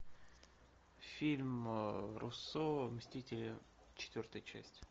фильм руссо мстители четвертая часть